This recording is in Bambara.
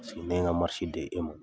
ne ye n ka di e ma.